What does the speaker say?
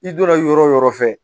I donra yɔrɔ o yɔrɔ fɛ